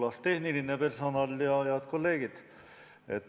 Hoolas tehniline personal ja head kolleegid!